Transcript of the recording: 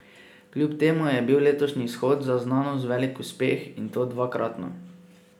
Kljub temu je bil letošnji shod za znanost velik uspeh, in to dvakratno.